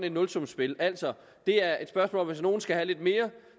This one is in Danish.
et nulsumsspil altså det er et spørgsmål om at hvis nogle skal have lidt mere